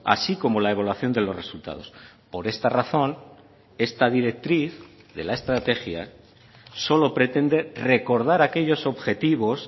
así como la evaluación de los resultados por esta razón esta directriz de la estrategia solo pretende recordar aquellos objetivos